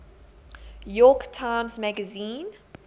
york times magazine